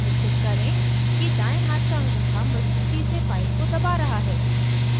निश्चित करें कि दायें हाथ का अंगूठा मज़बूती से फाइल को दबा रहा है